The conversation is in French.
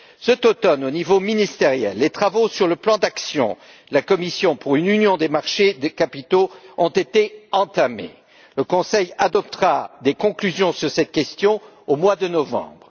Cet automne, au niveau ministériel, les travaux sur le plan d'action de la Commission pour une union des marchés des capitaux ont été entamés. Le Conseil adoptera des conclusions sur cette question au mois de novembre.